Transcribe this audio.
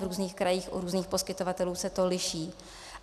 V různých krajích u různých poskytovatelů se to liší.